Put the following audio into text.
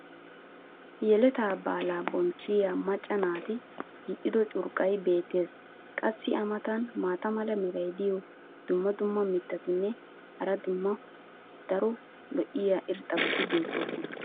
yeletaa baalaa bonchchiya macca naati hiixxido curqqay beetees. qassi a matan maata mala meray diyo dumma dumma mitatinne hara daro lo'iya irxxabati beetoosona.